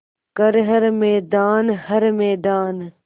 कर हर मैदान हर मैदान